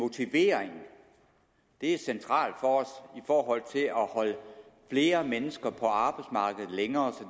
motivering er centralt for at holde flere mennesker på arbejdsmarkedet længere så